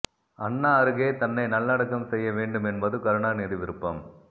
அண்ணா அருகே தன்னை நல்லடக்கம் செய்ய வேண்டும் என்பது கருணாநிதி விருப்பம்